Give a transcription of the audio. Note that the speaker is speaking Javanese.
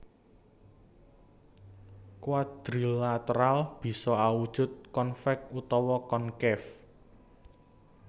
Quadrilateral bisa awujud convex utawa concave